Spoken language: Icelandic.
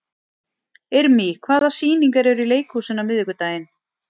Irmý, hvaða sýningar eru í leikhúsinu á miðvikudaginn?